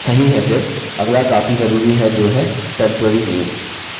सही है फिर अगला काफी ज़रूरी है जो है temporary name